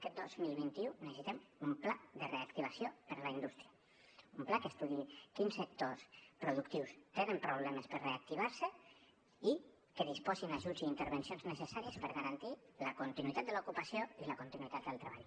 aquest dos mil vint u necessitem un pla de reactivació per a la indústria un pla que estudiï quins sectors productius tenen problemes per reactivar se i que disposin ajuts i intervencions necessàries per garantir la continuïtat de l’ocupació i la continuïtat del treball